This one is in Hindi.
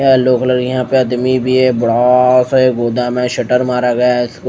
येलो कलर यहां पे अदमी भी है बड़ा सा ये गोदाम है शटर मारा गया है इसको--